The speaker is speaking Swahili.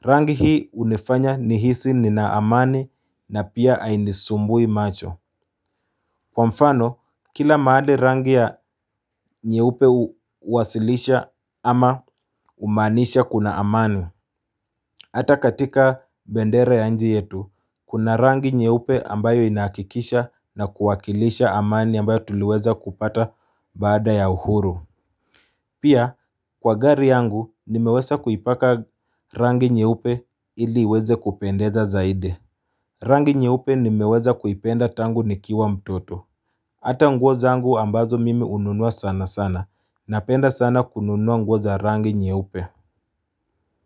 rangi hii hunifanya nihisi nina amani na pia hainisumbui macho kwa mfano kila mahali rangi ya nyeupe huwasilisha ama humaanisha kuna amani Hata katika bendera ya nchi yetu, kuna rangi nyeupe ambayo inahakikisha na kuwakilisha amani ambayo tuliweza kupata baada ya uhuru. Pia, kwa gari yangu, nimeweza kuipaka rangi nyeupe ili iweze kupendeza zaidi. Rangi nyeupe nimeweza kuipenda tangu nikiwa mtoto. Hata nguo zangu ambazo mimi hununua sana sana, napenda sana kununua nguo za rangi nyeupe.